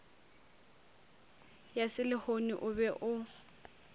ya selehono o be o